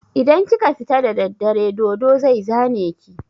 Idan ka fita da daddare dodo zai zane ka.